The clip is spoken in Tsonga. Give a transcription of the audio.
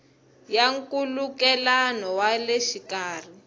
ya nkhulukelano wa le xikarhi